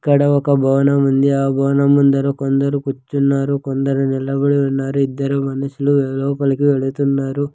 ఇక్కడ ఒక భవనం ఉంది ఆ భవనం ముందర కొందరు కూర్చున్నారు కొందరు నిలబడి ఉన్నారు ఇద్దరు మనుషులు లోపలికి వెళ్తున్నారు.